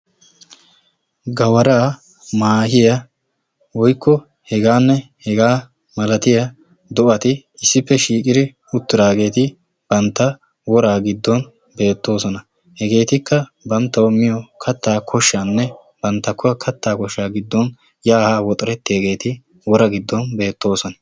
Gawaraa, maahiya woykko heganne hegaa malatiyaa do'ati issippe shiiqiri uttidaageeti bantta woraa giddo beettoosona. Hegeetikka banttawu miyo kattaa koshshanne giddoninne banta kattaa koshshaa giddon yaa haa woxerettiyageeti woraa giddon beettoosona.